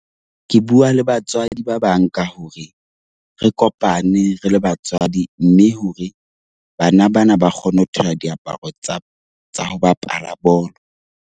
Ke bua le batswadi ba bang ka hore re kopane re le batswadi mme hore bana bana ba kgone ho thola diaparo tsa tsa ho bapala bolo.